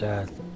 Gözəl.